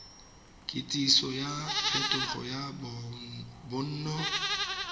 kitsiso ya phetogo ya bonno